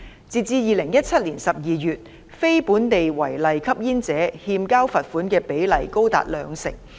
截至2017年12月，非本地違例吸煙者欠交罰款的比率高達兩成。